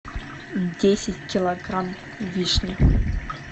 десять килограмм вишни